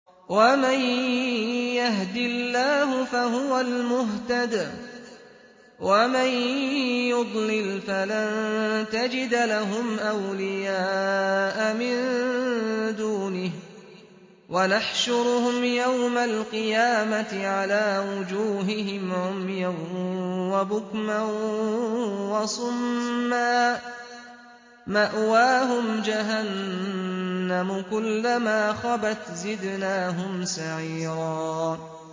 وَمَن يَهْدِ اللَّهُ فَهُوَ الْمُهْتَدِ ۖ وَمَن يُضْلِلْ فَلَن تَجِدَ لَهُمْ أَوْلِيَاءَ مِن دُونِهِ ۖ وَنَحْشُرُهُمْ يَوْمَ الْقِيَامَةِ عَلَىٰ وُجُوهِهِمْ عُمْيًا وَبُكْمًا وَصُمًّا ۖ مَّأْوَاهُمْ جَهَنَّمُ ۖ كُلَّمَا خَبَتْ زِدْنَاهُمْ سَعِيرًا